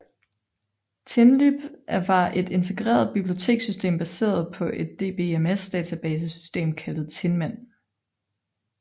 Tinlib var et integreret bibliotekssystem baseret på et DBMS database system kaldet Tinman